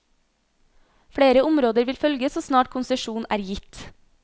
Flere områder vil følge så snart konsesjon er gitt.